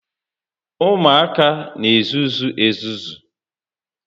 Ụmụaka n'ezuzu ezuzu